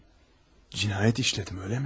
Cinayet işledim, öyle mi?